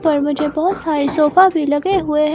पर मुझे बहुत सारे सोफा भी लगे हुए हैं।